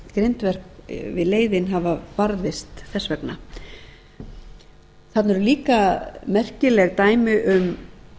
grindverk við leiðin hafa varðveist þess vegna þarna eru líka merkileg dæmi um